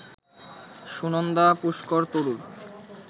Sunanda Pushkar Tharoor